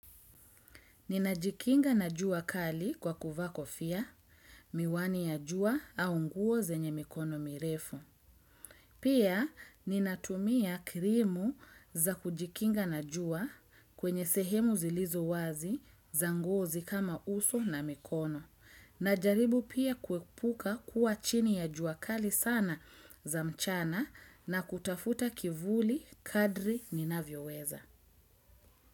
Ninajikinga na juakali kwa kuvaa ko fia miwani ya jua au nguo zenye mikono mirefu. Pia ninatumia krimu za kujikinga na jua kwenye sehemu zilizo wazi za ngozi kama uso na mikono. Najaribu pia kuepuka kuwa chini ya juakali sana za mchana na kutafuta kivuli kadri nina vyo weza.